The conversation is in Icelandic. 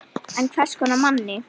En hvers konar manni?